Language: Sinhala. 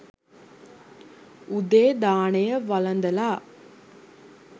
උදේ දානය වළදලා